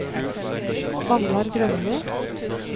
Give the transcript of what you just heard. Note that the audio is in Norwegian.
Magnar Grønli